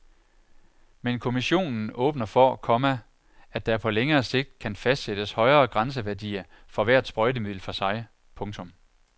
Men kommissionen åbner for, komma at der på længere sigt kan fastsættes højere grænseværdier for hvert sprøjtemiddel for sig. punktum